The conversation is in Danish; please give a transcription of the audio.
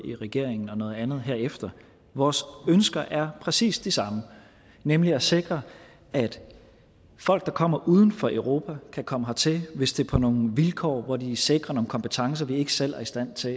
i regering og noget andet herefter vores ønsker er præcis de samme nemlig at sikre at folk der kommer fra uden for europa kan komme hertil hvis det er på nogle vilkår hvor de sikrer nogle kompetencer vi ikke selv er i stand til